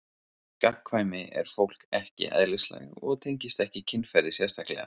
Gagnkvæmni er fólki ekki eðlislæg og tengist ekki kynferði sérstaklega.